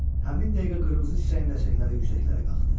Həmin dəqiqə qırmızı çiçəyin ləçəkləri yüksəklərə qalxdı.